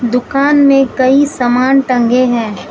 दुकान में कई समान टंगे हैं।